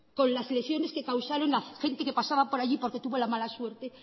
con las lesiones que causaron a gente que pasaban por allí porque tuvo la mala suerte